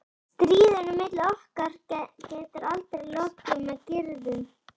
Stríðinu milli okkar getur aldrei lokið með griðum.